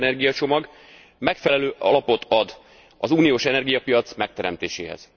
3. energiacsomag megfelelő alapot ad az uniós energiapiac megteremtéséhez.